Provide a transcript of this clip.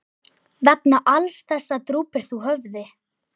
Vegna alls þessa drúpir þú höfði.